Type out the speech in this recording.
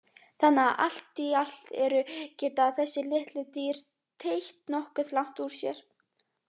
Þannig að allt í allt eru geta þessi litlu dýr teygt nokkuð langt úr sér.